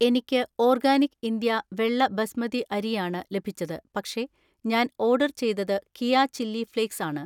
എനിക്ക് organic India വെള്ള ബസ്മതി അരി ആണ് ലഭിച്ചത്, പക്ഷേ ഞാൻ ഓർഡർ ചെയ്തത് കിയാ ചില്ലി ഫ്ലേക്സ് ആണ്.